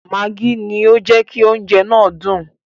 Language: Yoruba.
Mágí ni ó jẹ́ kí oúnjẹ náà dùn.